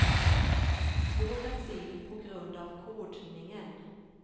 Svårt att se på grund av kodningen.